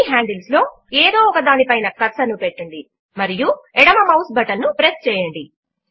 ఈ హాండిల్స్ లో ఏదో ఒకదాని పైన కర్సర్ ను పెట్టండి మరియు ఎడమ మౌస్ బటన్ ను ప్రెస్ చేయండి